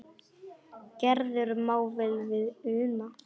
Gerður má vel við una.